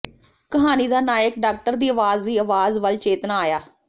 ਕਹਾਣੀ ਦਾ ਨਾਇਕ ਡਾਕਟਰ ਦੀ ਆਵਾਜ਼ ਦੀ ਆਵਾਜ਼ ਵੱਲ ਚੇਤਨਾ ਆਇਆ